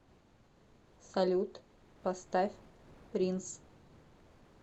салют поставь принс